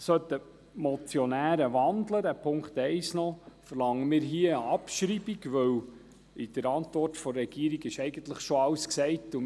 Sollten die Motionäre den Punkt 1 noch wandeln, verlangen wir eine Abschreibung, weil in der Antwort der Regierung eigentlich schon alles gesagt ist.